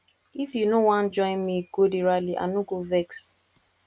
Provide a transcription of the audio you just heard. if you no wan join me go the rally i no go vex